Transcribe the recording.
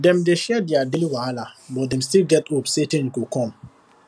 dem dey share their daily wahala but dem still get hope say change go come